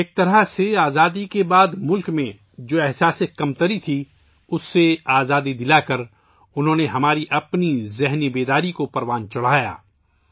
ایک طرح سے انہوں نے آزادی کے بعد ملک میں پھیلنے والے احساس کمتری سے آزاد کر کے ہمارے اپنے فکری شعور کو بیدار کیا